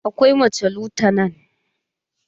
Akwai mace lutanan.